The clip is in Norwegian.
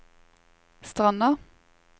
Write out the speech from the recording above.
Stranda